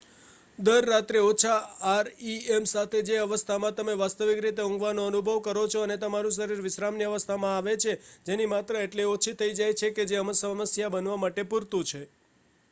દર રાત્રે ઓછા આરઈએમ સાથે જે અવસ્થામાં તમે વાસ્તવિક રીતે ઊંઘવાનો અનુભવ કરો છો અને તમારું શરીર વિશ્રામની અવસ્થામાં આવે છે એની માત્રા એટલી ઓછી થઇ જાય છે કે જે સમસ્યા બનવા માટે પૂરતું છે